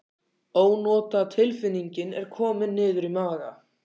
Ónotatilfinningin er komin niður í maga.